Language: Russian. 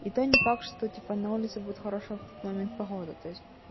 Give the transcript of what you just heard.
и то не факт что типа на улице будет хорошая в тот момент погода то есть